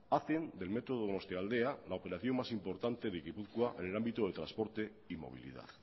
hacen del metro donostialdea la operación más importante de gipuzkoa en el ámbito de transporte y movilidad